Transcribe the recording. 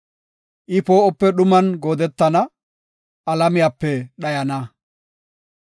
I poo7ope dhuman goodettana; alamiyape dhayana.